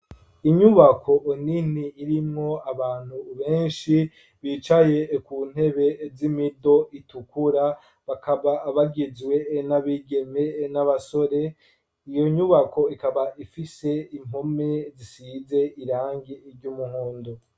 Inyubako nini, irimwo abantu benshi, bicaye ku ntebe, z'imido itukura, bakaba bagizwe n'abigeme, n'abasore; iyo nyubako, ikaba ifise impome, zisize irangi ry'umuhondo.